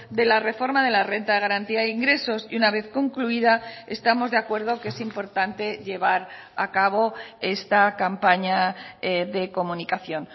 de la reforma de la renta de garantía de ingresos y una vez concluida estamos de acuerdo que es importante llevar a cabo esta campaña de comunicación